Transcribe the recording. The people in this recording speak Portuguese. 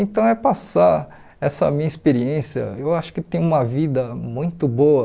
Então é passar essa minha experiência, eu acho que tem uma vida muito boa